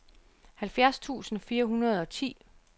halvfjerds tusind fire hundrede og ti